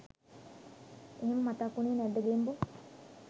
එහෙම මතක් උනේ නැද්ද ගෙම්බෝ.